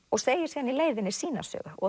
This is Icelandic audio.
og segir síðan í leiðinni sína sögu og